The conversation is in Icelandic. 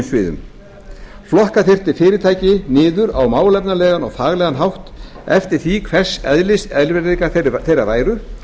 sviðum flokka þyrfti fyrirtæki niður á málefnalegan og faglegan hátt eftir því hvers eðlis erfiðleikar þeirra væru